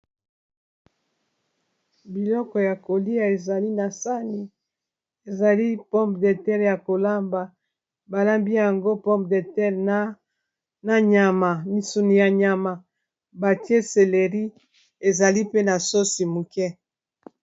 Biloko ya kolia ezali na sani ezali pomme de terre ya kolamba balambi yango pomme de terre na nyama misuni ya nyama batie seleri ezali pe na sosi muke.